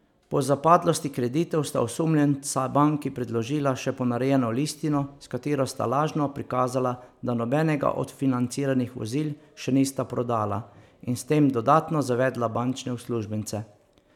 Po zapadlosti kreditov sta osumljenca banki predložila še ponarejeno listino, s katero sta lažno prikazala, da nobenega od financiranih vozil še nista prodala, in s tem dodatno zavedla bančne uslužbence.